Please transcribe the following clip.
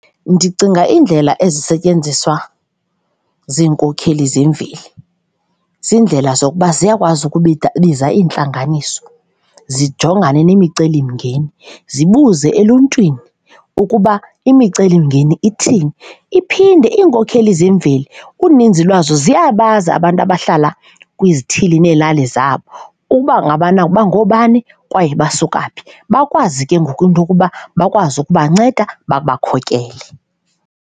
Ndicinga iindlela ezisetyenziswa ziinkokeli zemveli, ziindlela zokuba ziyakwazi biza iintlanganiso, zijongane nemicelimngeni, zibuze eluntwini ukuba imicelimngeni ithini. Iphinde iinkokheli zemveli uninzi lwazo ziyabazi abantu abahlala kwizithili neelali zabo uba ngabana bangoobani kwaye basuka phi, bakwazi ke ngoku into yokuba bakwazi ukubanceda, babakhokele.